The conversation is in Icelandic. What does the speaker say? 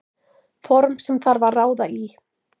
Form sem þarf að ráða í.